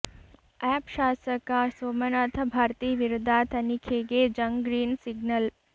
app ಶಾಸಕ ಸೋಮನಾಥ್ ಭಾರ್ತಿ ವಿರುದ್ಧ ತನಿಖೆಗೆ ಜಂಗ್ ಗ್ರೀನ್ ಸಿಗ್ನಲ್